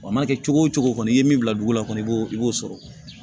Wa a mana kɛ cogo o cogo kɔni i ye min bila dugu la kɔni i b'o i b'o sɔrɔ